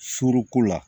Suruku la